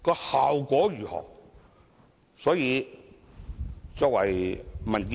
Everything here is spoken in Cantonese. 效果如何呢？